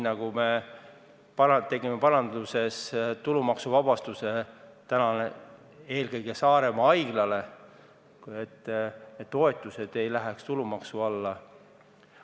Me tegime näiteks tulumaksuvabastuse eelkõige Saaremaa haiglale, et toetused haiglale ei läheks tulumaksu alla.